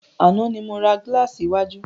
Àná ni mo ra gílàsì iwájú.